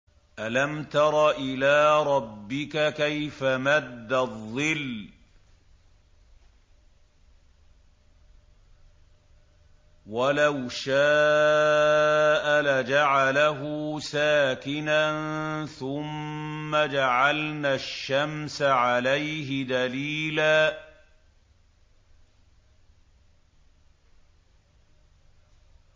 أَلَمْ تَرَ إِلَىٰ رَبِّكَ كَيْفَ مَدَّ الظِّلَّ وَلَوْ شَاءَ لَجَعَلَهُ سَاكِنًا ثُمَّ جَعَلْنَا الشَّمْسَ عَلَيْهِ دَلِيلًا